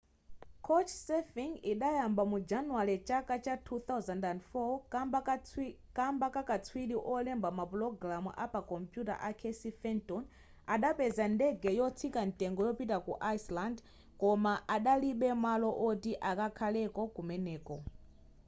couchsurfing idayamba mu januwale chaka 2004 kamba kakatswiri olemba mapulogalamu apakompuyuta a casey fenton adapeza ndege yotsika mtengo yopita ku iceland koma adalibe malo oti akhaleko kumeneko